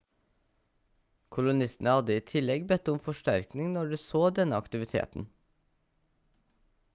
kolonistene hadde i tillegg bedt om forsterkning når de så denne aktiviteten